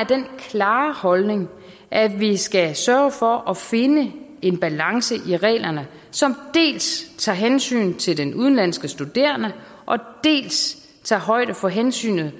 af den klare holdning at vi skal sørge for at finde en balance i reglerne som dels tager hensyn til den udenlandske studerende dels tager højde for hensynet